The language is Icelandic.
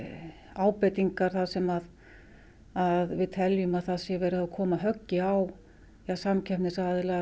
ábendingar þar sem við teljum að það sé verið að koma höggi á samkeppnisaðila